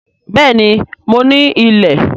Béèni mo ní ilẹ̀